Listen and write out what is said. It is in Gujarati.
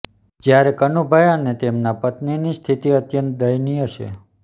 જ્યારે કનુભાઇ અને તેમના પત્નીની સ્થિતિ અત્યંત દયનીય છે